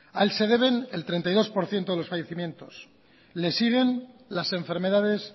a él se deben el treinta y dos por ciento de los fallecimientos le siguen las enfermedades